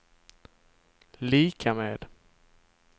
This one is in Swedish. lika med